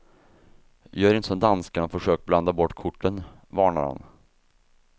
Gör inte som danskarna och försök blanda bort korten, varnar han.